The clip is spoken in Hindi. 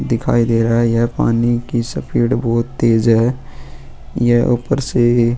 दिखाई दे रहा है यह पानी की स्पीड बहुत तेज है यह ऊपर से.